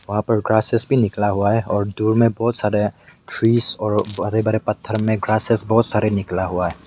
वहाँ पर ग्रासेस भी निकला हुआ है और दूर में बहोत सारे ट्रीस और हरे भरे पत्थर मे ग्रासेस बहोत सारे निकला हुआ है।